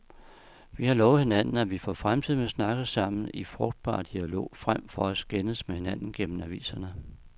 Vi har lovet hinanden, at vi for fremtiden vil snakke sammen i frugtbar dialog frem for at skændes med hinanden gennem aviserne.